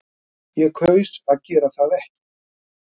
Ég kaus að gera það ekki